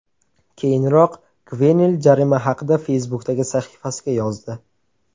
Keyinroq Gvenel jarima haqida Facebook’dagi sahifasiga yozdi.